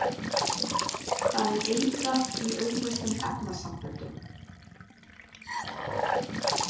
Það er eitrað í auðleystum efnasamböndum.